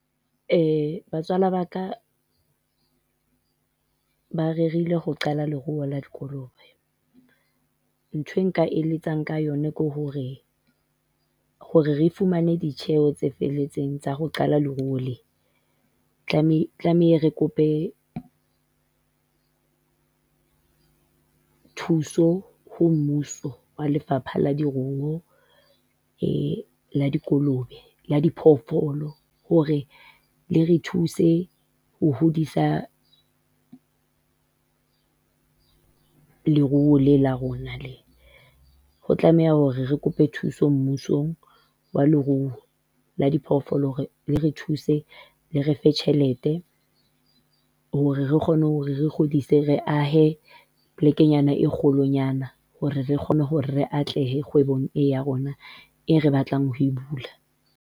Batswala ba ka ba rerile ho qala leruo le dikolobe. Ntho eo nka eletsang ka yona ke hore, hore re fumane ditjeho tse felletseng tsa ho qala leruo le, re tlamehile re kope thuso ho mmuso wa lefapha la leruo la dikolobe, la di phoofolo, hore le re thuse ho hodisa leruo lena la rona lena, ho tlameha hore re kope thuso mmusong wa leruo la diphoofolo hore le re thuse, le re fe tjhelete hore re kgone hore re hodise, re ahe sebakanyana se se holwanyana hore re kgone hore re atlehe kgwebong ena ya rona eo re batlang ho e bula.